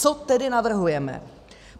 Co tedy navrhujeme?